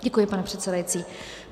Děkuji, pane předsedající.